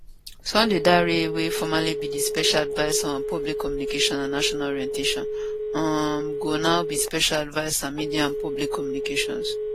sunday dare wey formally be di special adviser on public communication and national orientation um go now be special adviser media and public communications